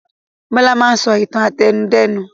Bọlá máa ń sọ ìtàn àtẹnudẹ́nu.